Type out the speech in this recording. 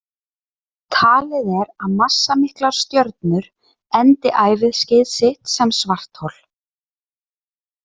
Talið er að massamiklar stjörnur endi æviskeið sitt sem svarthol.